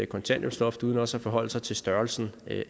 kontanthjælpsloft uden også at forholde sig til størrelsen